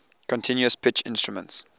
continuous pitch instruments